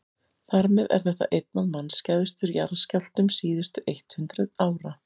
þar með er þetta einn af mannskæðustu jarðskjálftum síðustu eitt hundruð ára